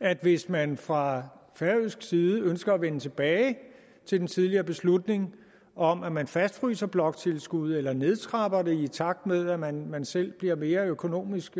at hvis man fra færøsk side ønsker at vende tilbage til den tidligere beslutning om at man fastfryser bloktilskuddet eller nedtrapper det i takt med at man man selv bliver mere økonomisk